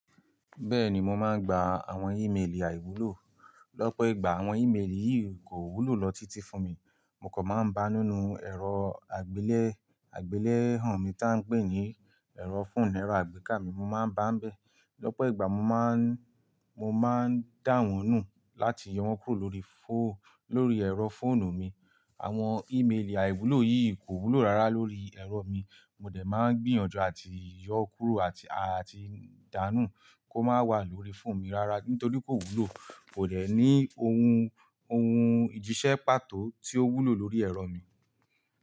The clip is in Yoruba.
Bẹ́ẹ̀ni, mo máa ń gba àwọn ímélì àìwúlò. Lọ́pọ̀ ìgbà àwọn ímélì yìí kò wúlò lọ títí fún mi, mo kò máa ń bá nínú ẹ̀rọ àgbélẹ̀, àgbélẹ̀ hàn mi tí à ń pè ní ẹ̀rọ fóònù ẹ̀rọ àgbéká mi, mo máa ń bá n bẹ́. Lọ́pọ̀ ìgbà mo má ń, mo máa ń dá wọn nù láti yọ wọ́n kúrò lórí fóò, lórí ẹ̀rọ fóònù mi. Àwọn ímélì àìwúlò yìí kò wúlò rárá lórí ẹ̀rọ mi, mo dẹ̀ máa ń gbìyànjú àti yọ kúrò àti, àti dáà nù kó má wà lórí fóònù mi rárá nítorí kò wúlò. Kò de ní ohun, ohun ìjísẹ́ pàtó tí ó wúlò lórí ẹ̀rọ mi.